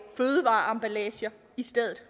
fødevareemballager i stedet